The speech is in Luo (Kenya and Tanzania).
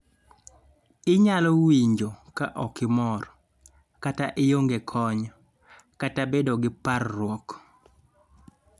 inyalo winjo ka okimor, ka ionge kony, kata bedo gi parruok